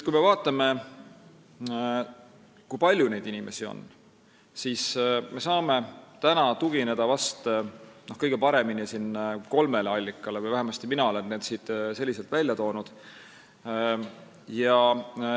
Kui me vaatame, kui palju neid inimesi on, siis me saame kõige paremini tugineda kolmele allikale või vähemasti olen mina need välja toonud.